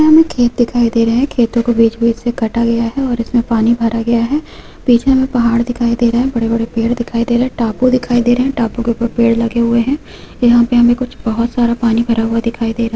यहाँ हमे खेत दिखाई दे रहे है खेतों को बीच बीच से काटा गया है और इसमें पानी भरा गया है । बीच में पाहाड़ दिखाई दे रहा है। बड़े बड़े पेड़ दिखाई दे रहे हे। टापू दिखाई दे रहे हैं। टापू के उपर पेड़ लगे हुए हैं। यहा पे हामे कुछ बहोत सारा पानी भरा हुआ दिखाई दे रहा --